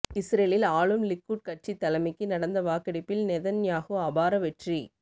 இஸ்ரேலில் ஆளும் லிக்குட் கட்சித் தலைமைக்கு நடந்த வாக்கெடுப்பில் நெதன்யாகு அபார வெற்றி